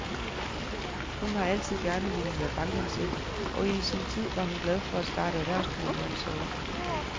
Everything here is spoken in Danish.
Hun har altid gerne villet være bankansat, og i sin tid var hun glad for at starte erhvervskarrieren så ung.